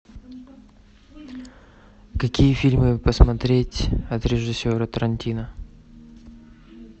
какие фильмы посмотреть от режиссера тарантино